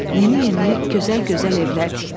Yeni-yeni, gözəl-gözəl evlər tikdik.